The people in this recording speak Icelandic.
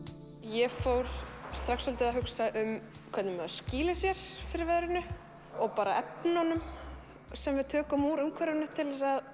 ég fór strax svolítið að hugsa um hvernig maður skýlir sér fyrir veðrinu og bara efnunum sem við tökum úr umhverfinu til að